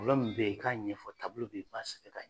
min bɛ ye i k'a ɲɛfɔ bɛ ye i b'a sɛbɛn ka ɲɛ.